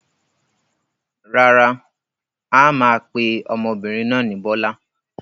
Rárá, a máa pe ọmọbìnrin náà ni Bọ́lá.